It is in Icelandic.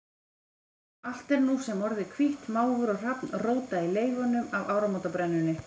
Allt er nú sem orðið hvítt, máfur og hrafn róta í leifunum af áramótabrennunni.